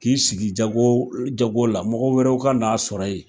K'i sigi jago jago la , mɔgɔ wɛrɛw ka n'a sɔrɔ yen.